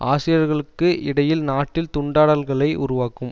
அசிரியர்களுக்கு இடையில் நாட்டில் துண்டாடல்களை உருவாக்கும்